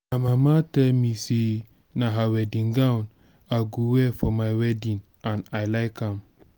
my mama tell me say na her wedding gown i go wear for my wedding and i like am